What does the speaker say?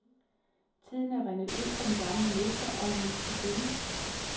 Tiden er rindet ud for den gamle mester, og en ny skal findes.